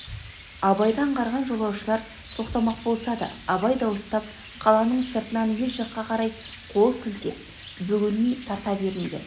абайды аңғарған жолаушылар тоқтамақ болса да абай дауыстап қаланың сыртына ел жаққа қарай қол сілтеп бөгелмей тарта беріңдер